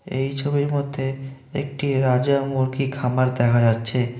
এই ছবির মধ্যে একটি রাজা মুরগি খামার দেখা যাচ্ছে।